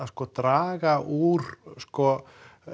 draga úr sko